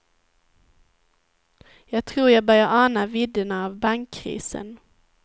Jag tror jag börjar ana vidderna av bankkrisen.